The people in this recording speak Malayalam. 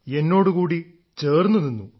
എന്നോടുകൂടി ചേർന്നുനിന്നു